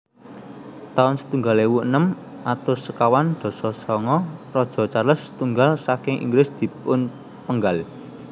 taun setunggal ewu enem atus sekawan dasa sanga Raja Charles setunggal saking Inggris dipunpenggal